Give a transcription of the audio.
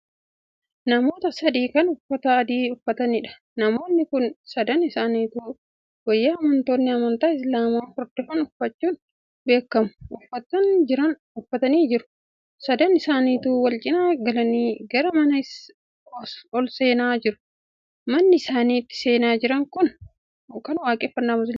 Namoota sadi Kan uffata adii uffataniidha. Namoonni Kuni sadan isaanituu wayaa amantoonni amantii islaamaa hordofan uffachuun beekamu uffatanii jiru. Sadan isaaniituu wal cinaa galanii gara manaa olseenaa jiru. Manni isaan itti seenaa Jiran Kun mana waaqeffaannaa musliimaati.